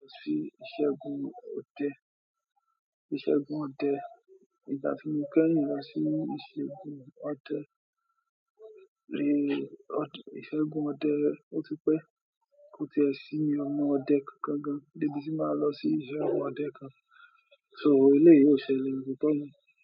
Lọ sí iṣẹ́ ogun òde, ìṣẹ́gun ọdẹ, ìgbà tí mo kẹ́yìn lọ sí ìṣẹ́gun ọdẹ, ìṣẹ́gun ọdẹ, ó ti pẹ́, kó ti ẹ̀ sí ọmọ ọdẹ kan gan, dé bi tí màá lọ sí ìṣẹ́gun ọdẹ kan, so eléyìí ó ṣẹlẹ̀ bí ti tele.